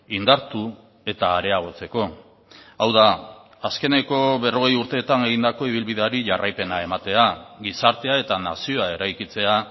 indartu eta areagotzeko hau da azkeneko berrogei urteetan egindako ibilbideari jarraipena ematea gizartea eta nazioa eraikitzea